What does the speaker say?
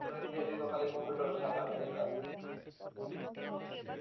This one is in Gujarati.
જેવા વિદ્યાર્થી તો ખાલી કોમ્પ્યુટર શાખા ના જ હતા